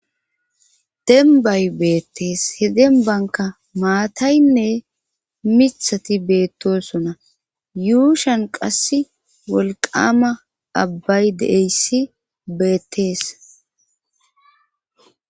Dembay beettees he den banka maataynne mithati beettosona yuushan qass wolqama abbay de'eyssi beettees.